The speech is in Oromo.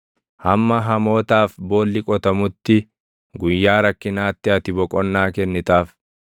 hamma hamootaaf boolli qotamutti, guyyaa rakkinaatti ati boqonnaa kennitaaf.